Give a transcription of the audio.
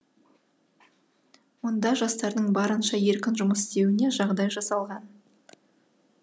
мұнда жастардың барынша еркін жұмыс істеуіне жағдай жасалған